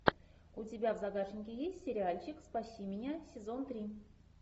у тебя в загашнике есть сериальчик спаси меня сезон три